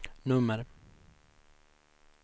nummer